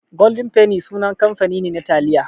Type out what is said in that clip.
Golden penny sunan kamfani ne na taliya.